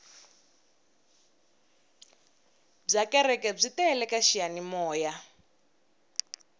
bya kereke byi tele ka xiyanimoya